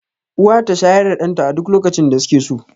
Uwa ta shayar da ɗan ta a duk lokacin da suke so